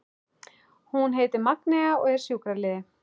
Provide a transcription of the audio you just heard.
Hún heitir Magnea og er sjúkraliði.